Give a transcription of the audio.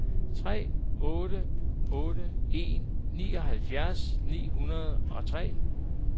tre otte otte en nioghalvfjerds ni hundrede og tre